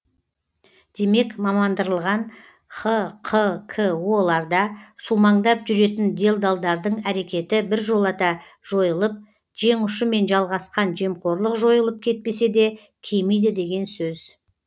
демек мамандандырылған хқко ларда сумаңдап жүретін делдалдардың әрекеті біржолата жойылып жеңұшымен жалғасқан жемқорлық жойылып кетпесе де кемиді деген сөз